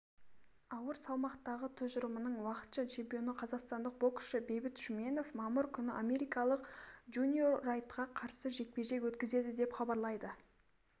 ауыр салмақтағы тұжырымының уақытша чемпионы қазақстандық боксшы бейбіт шүменов мамыр күні америкалық джуниор райтқа қарсы жекпе-жек өткізеді деп хабарлайды